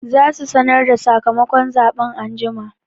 Za su sanar da sakamakon zaɓen anjima